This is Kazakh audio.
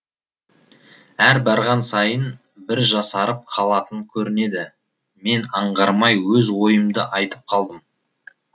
әр барған сайын бір жасарып қалатын көрінеді мен аңғармай өз ойымды айтып қалдым